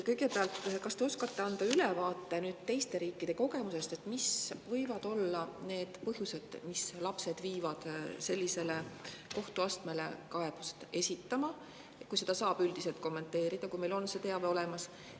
Kõigepealt, kas te oskate anda ülevaate teiste riikide kogemusest, et mis võivad olla need põhjused, mis viivad lapsi kaebust sellele esitama, kui seda saab üldiselt kommenteerida ja kui meil on see teave olemas?